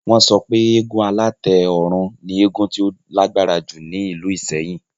Wọ́n sọ pé eégún alátẹ ọ̀run ni eégún tó lágbára jù ní ìlú ìsẹ́yìn